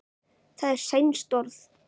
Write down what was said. það er sænskt orð